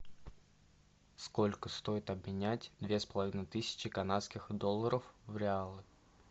сколько стоит обменять две с половиной тысячи канадских долларов в реалы